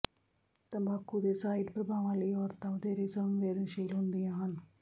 ਤੰਬਾਕੂ ਦੇ ਸਾਈਡ ਪਰਭਾਵਾਂ ਲਈ ਔਰਤਾਂ ਵਧੇਰੇ ਸੰਵੇਦਨਸ਼ੀਲ ਹੁੰਦੀਆਂ ਹਨ